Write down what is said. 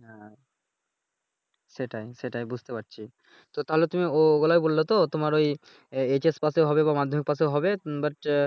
আহ সেটাই সেটাই বুঝতে পারছি। তো তাহলে তুমি ও বেলায় বললে তো তোমার ওই এইচ এস পাসে হবে বা মাধ্যমিক পাসে হবে But আহ